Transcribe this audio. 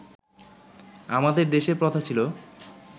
আমাদের দেশে প্রথা ছিল